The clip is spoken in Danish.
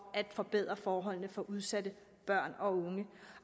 af at forbedre forholdene for udsatte børn og unge